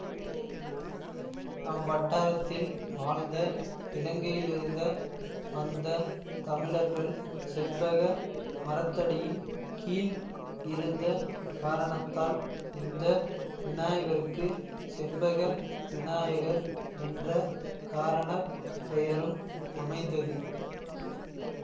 அவ்வட்டாரத்தில் வாழ்ந்த இலங்கையிலிருந்த வந்த தமிழர்கள் செண்பக மரத்தடியின் கீழ் இருந்த காரணத்தால் இந்த விநாயகருக்கு செண்பக விநாயகர் என்ற காரண பெயரும் அமைந்தது